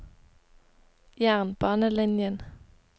jernbanelinjen